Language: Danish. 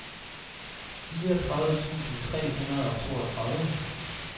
fireogtredive tusind tre hundrede og toogtredive